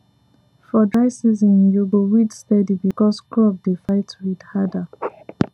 for dry season you go weed steady because crop dey fight weed harder